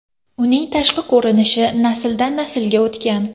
Uning tashqi ko‘rinishi nasldan naslga o‘tgan.